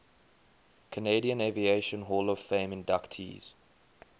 canadian aviation hall of fame inductees